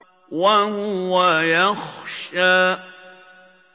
وَهُوَ يَخْشَىٰ